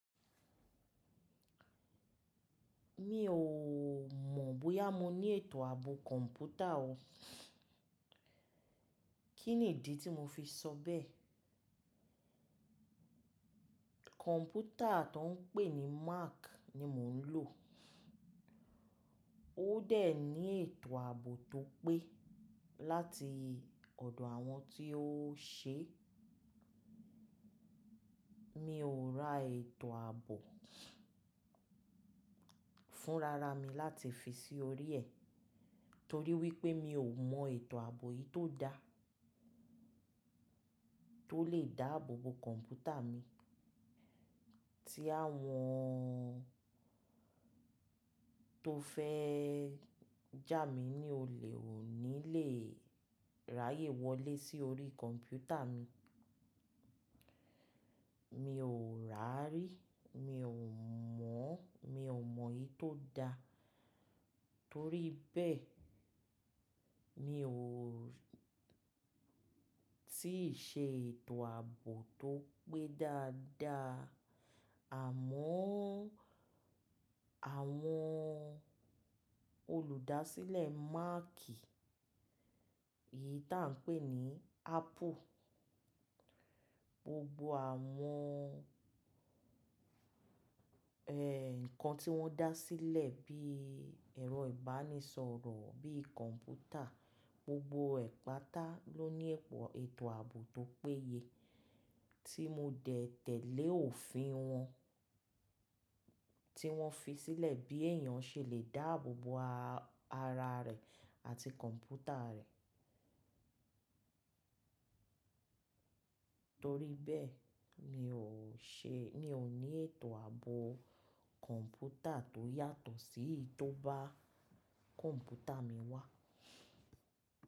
Mi ò mọ̀ bóyá mo ní ètò àbò kọ̀ǹpútà o. Kí ni ìdí tí mo fi sọ bẹ́ẹ̀? Kọ̀ǹpútà tó ń pè ní Mac ni mò ń lò. Ó dẹ̀ ní ètò àbò tó pé láti ọ̀dọ̀ àwọn tí ó ṣe. Mi ò ra ètò àbò fúnra ra mi láti fi sí orí ẹ̀ torí wípé mi ò mọ ètò àbò èyìí tó dá tó lè dáàbò bo kọ̀ǹpútà mi kí àwọn tó fẹ́ jà mí ní olè ó ní lè ráyè wọlé sí orí kọ̀ǹpútà mi. Mi ò rárí, mi ò mọ̀, mi ò mọ̀ èyí tó da torí bẹ́ẹ̀ mi ò tí ì ṣe ètò àbò tó pé dáadáa. Àmọ́ àwọn olùdásílẹ̀ Mac yìí ta ń pè ní Apple, gbogbo àwọn eh nǹkan tí wọ́n dá sílẹ̀ bí ẹ̀rọ ìbánisọ̀rọ̀, bí i kọ̀ǹpútà, gbogbo ẹ́patá ló ní ipò ètò àbò tó péye tí mo dẹ̀ tẹ̀lé òfin wọn, tí wọ́n fi sílẹ̀ bí èèyàn ṣe lè dáàbò bo ara rẹ̀ àti kọ̀ǹpútà rẹ̀. Torí bẹ́ẹ̀ mi ò ṣe, mi ò ní ètò àbò kọ̀ǹpútà tó yàtọ̀ sí èyí tó bá kọ̀ǹpútà mi wá.